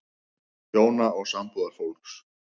HJÓNA OG SAMBÚÐARFÓLKS